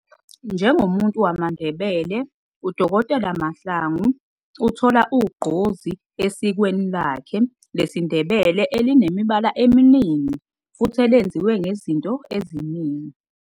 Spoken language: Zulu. njengomuntu wamandebele uDokotela Mahlangu uthola ugqozi esikweni lakhe lesindebele elinemibala eminingi futhi elenziwe ngezinto eziningi.